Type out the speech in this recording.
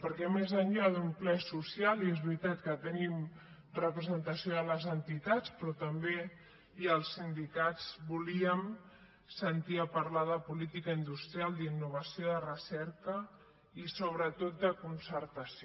perquè més enllà d’un ple social i és veritat que tenim representació de les entitats però també hi ha els sindicats volíem sentir parlar de política industrial d’innovació de recerca i sobretot de concertació